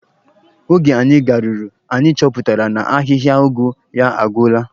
Oge anyị garuru, anyị chọpụtara na ahịhịa ụgụ ya agwụla.